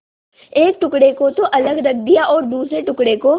एक टुकड़े को तो अलग रख दिया और दूसरे टुकड़े को